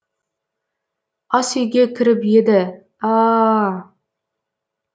ас үйге кіріп еді ааааа